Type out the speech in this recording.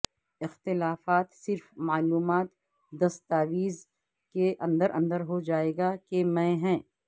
اختلافات صرف معلومات دستاویز کے اندر اندر ہو جائے گا کہ میں ہیں